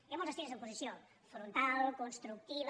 hi han molts estils d’oposició frontal constructiva